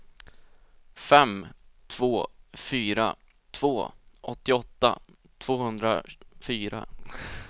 fem två fyra två åttioåtta tvåhundrafyra